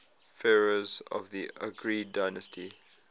pharaohs of the argead dynasty